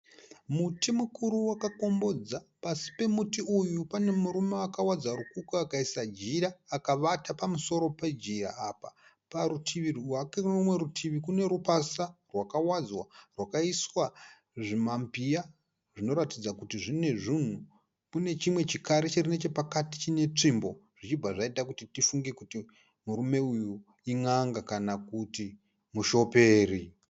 Muti mukuru wakakombodza. Pasi pemuti uyu pane murume akawadza rukukwe akaisa jira akavata pamusoro pejira apa. Parutivi rwake nerumwe rutivi kune rumwe rupasa rwakawadzwa rwakaiswa zvimambiya zvinoratidza kuti mune zvinhu. Pane chimwe chikari chiri pakati chine tsvimbo zvichibva zvaita tifunge kuti murume uyu in'anga kana kuti mushoperi.